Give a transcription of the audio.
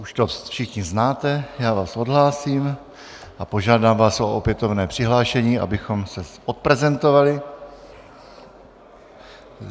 Už to všichni znáte, já vás odhlásím a požádám vás o opětovné přihlášení, abychom se odprezentovali.